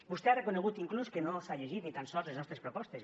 vostè ha reconegut inclús que no s’ha llegit ni tan sols les nostres propostes